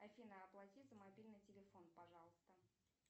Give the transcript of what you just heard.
афина оплати за мобильный телефон пожалуйста